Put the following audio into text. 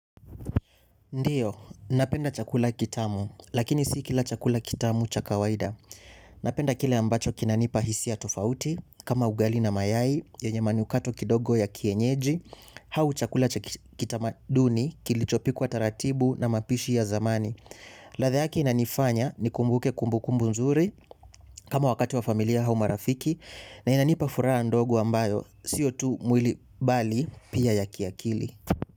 Ndio. Napenda chakula kitamu. Lakini si kila chakula kitamu cha kawaida. Napenda kile ambacho kinanipa hisia tofauti, kama ugali na mayai, yenye manukato kidogo ya kienyeji, au chakula cha kitamaduni, kilichopikwa taratibu na mapishi ya zamani. Ladha yake inanifanya nikumbuke kumbukumbu nzuri, kama wakati wa familia au marafiki, na inanipa furaha ndogo ambayo, sio tu mwili bali pia ya kiakili.